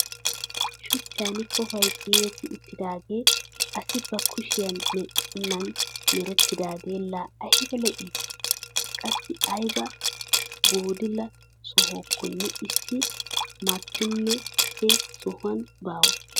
Shuchchan kooppoy ciiretti uttidagee asi ba kushiyaan medhenan merettidagee laa ayba lo"ii! qassi ayba booddila sohokonne issi maatinne he sohuwaan baawa!